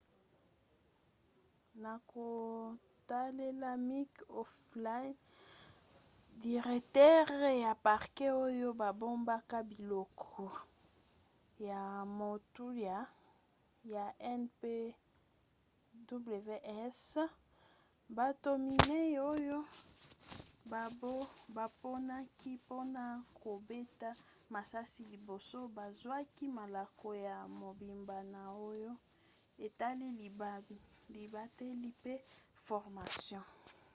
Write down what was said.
na kotalela mick o'flynn diretere ya parke oyo babombaka biloko ya motuya ya npws bato minei oyo baponaki mpona kobeta masasi liboso bazwaki malako ya mobimba na oyo etali libateli mpe formation